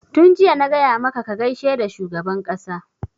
Tun jiya na gaya maka ka gaishe da shugaban ƙasa!